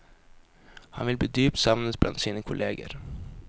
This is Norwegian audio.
Han vil bli dypt savnet blant sine kolleger.